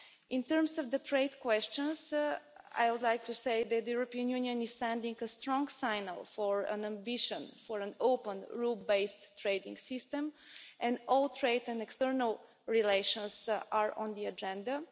In terms of the trade questions, I would like to say that the European Union is sending a strong message on its ambition for an open, rule based trading system, and all trade and external relations are on the agenda.